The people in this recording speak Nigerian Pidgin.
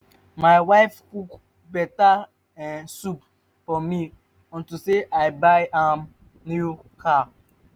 my wife cook beta um soup for me unto say i buy am new car